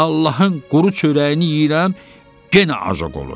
Allahın quru çörəyini yeyirəm, yenə ajoq oluram.